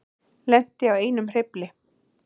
Lenti á einum hreyfli